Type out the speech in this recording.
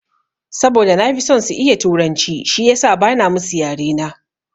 Saboda na fi son su iya turanci shiyasa bana musu yare na.